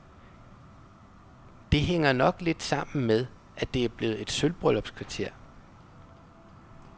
Det hænger nok lidt sammen med, at det er blevet et sølvbryllupskvarter.